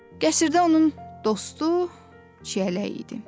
Qəsrdə onun dostu Çiyələk idi.